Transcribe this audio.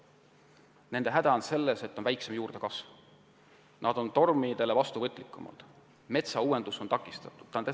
Nende juurdekasv on väiksem, nad on tormikahjude suhtes vastuvõtlikumad ja nende puhul on metsauuendus takistatud.